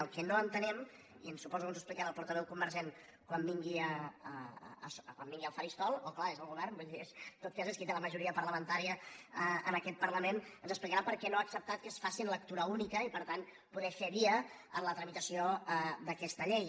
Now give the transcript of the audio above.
el que no entenem i suposo que ens ho explicarà el portaveu convergent quan vingui al faristol oh clar és el govern vull dir en tot cas és qui té la majoria parlamentària en aquest parlament és per què no ha acceptat que es faci en lectura única i per tant poder fer via en la tramitació d’aquesta llei